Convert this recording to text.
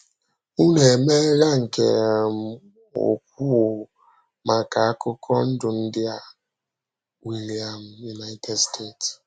Ụ́nụ emeela nke um ùkwù maka akụkọ ndụ ndị a.” — William, United States.